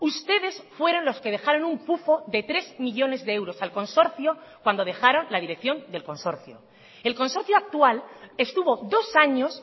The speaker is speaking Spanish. ustedes fueron los que dejaron un pufo de tres millónes de euros al consorcio cuando dejaron la dirección del consorcio el consorcio actual estuvo dos años